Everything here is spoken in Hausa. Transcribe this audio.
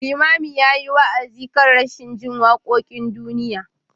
Limamin ya yi wa’azi kan rashin jin wakokin duniya.